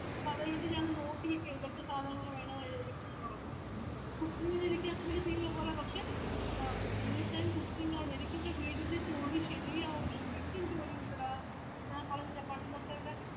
അപ്പൊ അത്കൊണ്ട് ഞാന് നോക്കിനിക്കയാണ് എതൊക്കെ സാധനങ്ങള് വേണം ന്ന് എടുക്കണം ന്ന് പറഞ്ഞിട്ട് cooking ന് എനിക്ക് അത്രക്ക് തീരെ പോരാ പക്ഷെ അഹ് full time cooking ആണ് എനിക്കിവിടെ വീടിന്റെജോലി ശെരിയാവും ശെരിക്കും ജോലി ഉണ്ടെടാ ഞാൻ പറഞ്ഞില്ലേ പണ്ടത്തെ ഇവിടെ